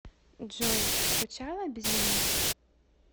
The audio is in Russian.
джой скучала без меня